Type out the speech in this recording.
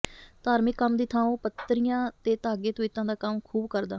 ਧਾਰਮਿਕ ਕੰਮ ਦੀ ਥਾਂ ਉਹ ਪੱਤਰੀਆਂ ਤੇ ਧਾਗੇ ਤਵੀਤਾਂ ਦਾ ਕੰਮ ਖ਼ੂਬ ਕਰਦਾ